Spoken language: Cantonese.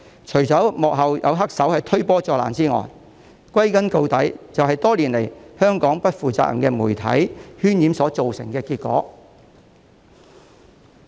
除了有幕後黑手推波助瀾之外，歸根究底，就是香港不負責任的媒體多年來渲染所造成的結果。